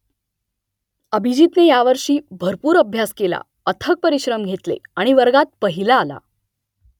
अभिजीतने यावर्षी भरपूर अभ्यास केला अथक परिश्रम घेतले आणि वर्गात पहिला आला